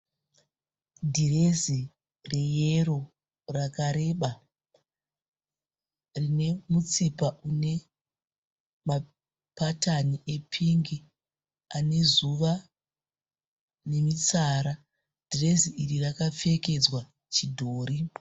Dhirezi reyero rakareba. Rinemutsipa unemapatani epingi anezuva nemitsara. Dhirezi iri rakapfekedzwa chidhori.